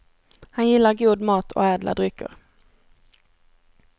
Han gillar god mat och ädla drycker.